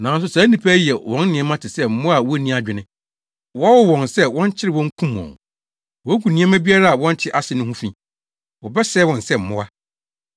Nanso saa nnipa yi yɛ wɔn nneɛma te sɛ mmoa a wunni adwene, wɔwo wɔn sɛ wɔnkyere wɔn nkum wɔn. Wogu nneɛma biara a wɔnte ase no ho fi. Wɔbɛsɛe wɔn sɛ mmoa.